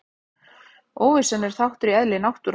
Óvissan er þáttur í eðli náttúrunnar.